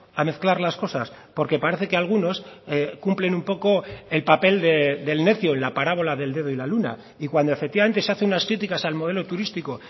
a mezclar las cosas porque parece que algunos cumplen un poco el papel del necio en la parábola del dedo y la luna y cuando efectivamente se hace unas críticas al modelo turístico